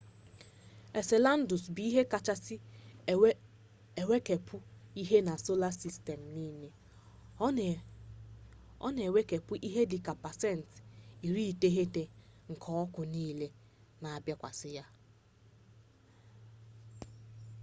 enseladus bụ ihe kachasị enwukepụ ihe na sola sistem niile ọ na-enwukepụ ihe dị ka pasent 90 nke ọkụ niile na-abịakwasa ya